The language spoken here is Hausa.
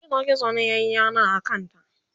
gizo gizo ne yayi yana a kanta